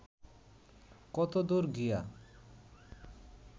কতদূর গিয়া